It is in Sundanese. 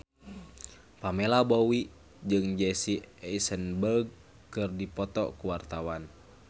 Pamela Bowie jeung Jesse Eisenberg keur dipoto ku wartawan